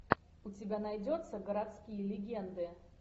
у тебя найдется городские легенды